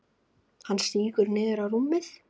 Hann sígur niður á rúmið.